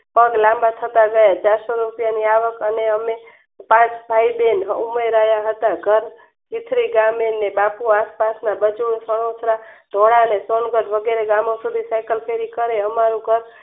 પગ લાંબા થતા જાય ચારસો રૂપિયાની આવક અને અમે પાંચ ભાઈ બહેન ઉમય રહ્યા હતા વિખરી જામે ન બાપુ આસપાસના બધું જ વગેરે કરે અમારું